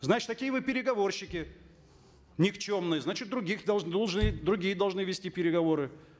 значит такие вы переговорщики никчемные значит других должны другие должны вести переговоры